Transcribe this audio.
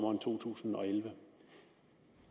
tusind og elleve